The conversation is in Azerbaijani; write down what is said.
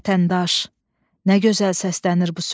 Vətəndaş, nə gözəl səslənir bu söz.